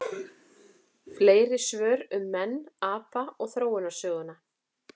Fleiri svör um menn, apa og þróunarsöguna: